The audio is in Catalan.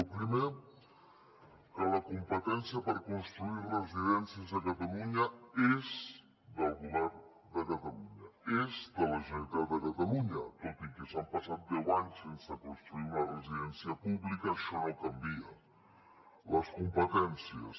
el primer que la competència per construir residències a catalunya és del govern de catalunya és de la generalitat de catalunya tot i que s’han passat deu anys sense construir una residència pública això no en canvia les competències